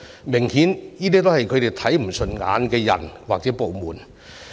明顯地，這些是他們看不順眼的人或部門。